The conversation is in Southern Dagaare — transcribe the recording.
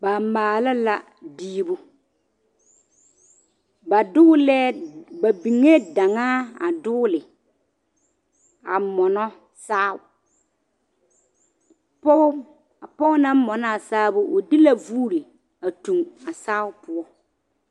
Ba maala la diibu ba dɔglɛɛ ba biŋee daŋaa a dɔgle a.mɔnɔ saao pɔge a pɔge naŋ mɔnɔ a saao o de la vuuri a tuŋ a saao poɔ.